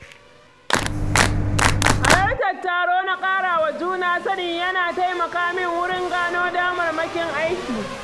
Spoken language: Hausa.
Halartar taro na ƙara wa juna sani yana taimaka min wurin gano damarmakin aiki.